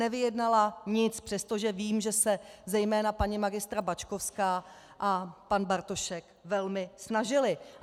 Nevyjednala nic, přestože vím, že se zejména paní magistra Bačkovská a pan Bartošek velmi snažili.